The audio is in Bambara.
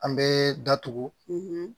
An bɛ datugu